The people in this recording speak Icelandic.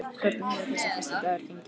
Hvernig hefur þessi fyrsti dagur gengið?